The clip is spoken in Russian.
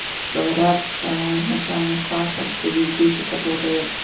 говорят аа в начальных классах что есть дети которые